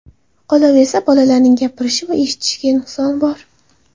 Qolaversa, bolaning gapirishi va eshitishida nuqsoni bor.